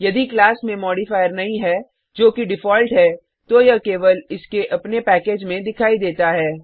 यदि क्लास में मॉडिफायर नहीं है जो कि डिफॉल्ट है तो यह केवल इसके अपने पैकेज में दिखाई देता है